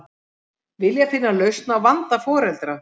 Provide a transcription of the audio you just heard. Vilja finna lausn á vanda foreldra